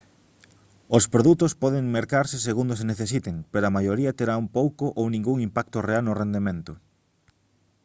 os produtos poden mercarse segundo se necesiten pero a maioría terán pouco ou ningún impacto real no rendemento